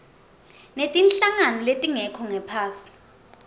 netinhlangano letingekho ngaphasi